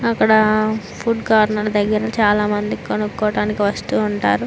అక్కడ food corner దగ్గర చాలా మంది కొనుక్కోడానికి వస్తూ ఉంటారు.